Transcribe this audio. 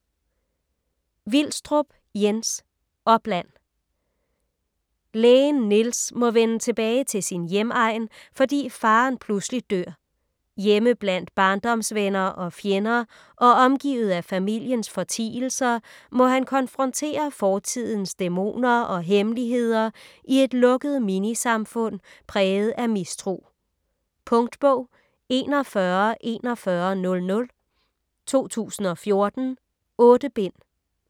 Vilstrup, Jens: Opland Lægen Niels må vende tilbage til sin hjemegn, fordi faderen pludselig dør. Hjemme blandt barndomsvenner og -fjender og omgivet af familiens fortielser, må han konfrontere fortidens dæmoner og hemmeligheder i et lukket minisamfund præget af mistro. Punktbog 414100 2014. 8 bind.